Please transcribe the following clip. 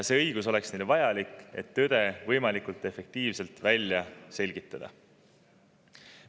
See õigus oleks neile vajalik, et tõde võimalikult efektiivselt välja selgitada.